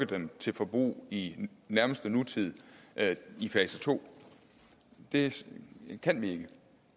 dem til forbrug i den nærmeste nutid i fase to det kan vi